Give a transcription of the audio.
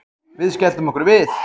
Við skelltum okkur við